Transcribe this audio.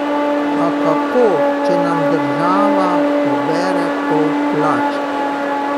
A kako, če nam država pobere pol plače?